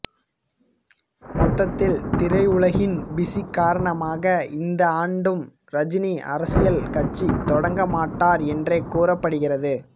மொத்தத்தில் திரையுலகின் பிசி காரணமாக இந்த ஆண்டும் ரஜினி அரசியல் கட்சி தொடங்க மாட்டார் என்றே கூறப்படுகிறது